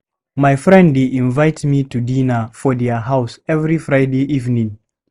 My friend dey invite me to dinner for their house every Friday evening.